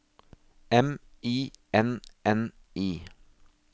M I N N I